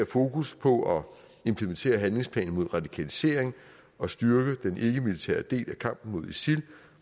fokus på at implementere handlingsplanen mod radikalisering og styrke den ikkemilitære del af kampen mod isil